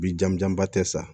Bi jamujanba tɛ sa